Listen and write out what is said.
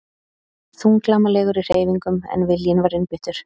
Þunglamalegur í hreyfingum en viljinn var einbeittur.